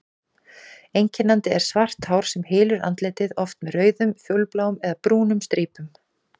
Einkennandi er svart hár sem hylur andlitið, oft með rauðum, fjólubláum eða brúnum strípum.